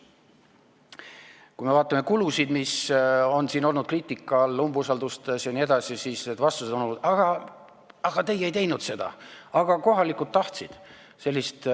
Kui me vaatame kulusid, mis on siin olnud kriitika all umbusaldusavaldustes jne, siis vastused on olnud: teie ju ei teinud seda, aga kohalikud tahtsid!